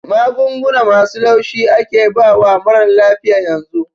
Magunguna masu laushi ake bawa marar lafiya yanzu